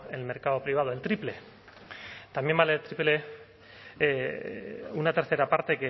el mercado privado el triple también vale el triple una tercera parte